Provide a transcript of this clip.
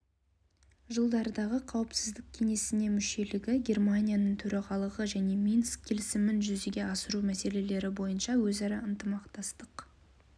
жылдардағы қауіпсіздік кеңесіне мүшелігі германияның төрағалығы және минск келісімін жүзеге асыру мәселелері бойынша өзара ынтымақтастық